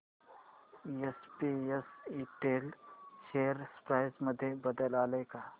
SPS Intel share price मध्ये बदल आलाय का